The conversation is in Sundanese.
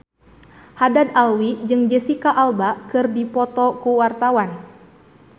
Haddad Alwi jeung Jesicca Alba keur dipoto ku wartawan